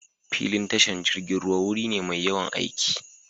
Filin tashar jirgin ruwa wuri ne mai yawan aiki.